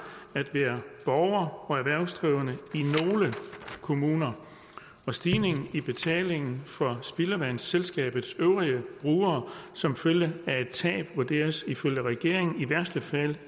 at være borger og erhvervsdrivende i nogle kommuner og stigningen i betalingen for spildevandsselskabets øvrige brugere som følge af et tab vurderes ifølge regeringen i værste fald